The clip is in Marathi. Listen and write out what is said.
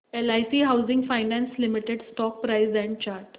LIC housing finance limited stock price and chart